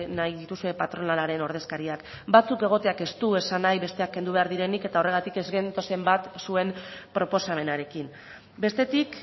nahi dituzue patronalaren ordezkariak batzuk egoteak ez du esan nahi besteak kendu behar direnik eta horregatik ez gentozen bat zuen proposamenarekin bestetik